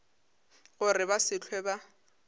gore ba se hlwe ba